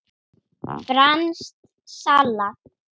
Franskt salat